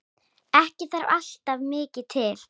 Ekki þarf alltaf mikið til.